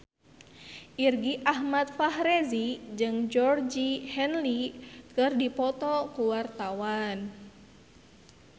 Irgi Ahmad Fahrezi jeung Georgie Henley keur dipoto ku wartawan